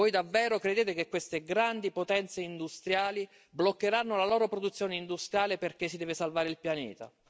Voi davvero credete che queste grandi potenze industriali bloccheranno la loro produzione industriale perché si deve salvare il pianeta?